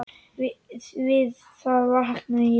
Við það vaknaði ég.